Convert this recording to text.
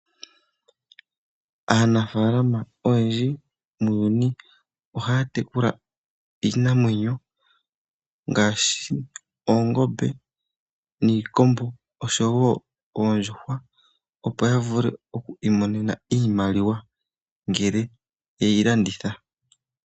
Aanafaalama oyendji muuyuni ohaya tekula iinamwenyo ngaashi oongombe niikombo oshowoo oondjuhwa ,opo yavule okwiimonena iimaliwa ngele eyi landitha.